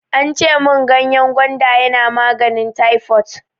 Ance mun ganyen gwanda yana maganin taifot.